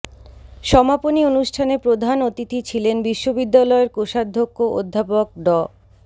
সমাপনী অনুষ্ঠানে প্রধান অতিথি ছিলেন বিশ্ববিদ্যালয়ের কোষাধ্যক্ষ অধ্যাপক ড